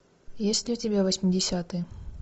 есть ли у тебя восьмидесятые